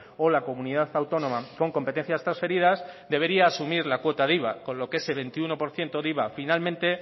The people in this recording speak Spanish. o la comunidad autónoma con competencias transferidas debería de asumir la cuota del iva con lo que ese veintiuno por ciento de iva finalmente